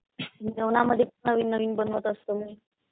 जेवणामध्ये पण नवीन नवीन बनवत असतो मी.